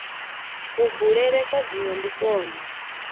kubulele kwa dzina ndi kwone